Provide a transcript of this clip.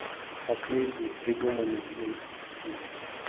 последний придуманный им фильм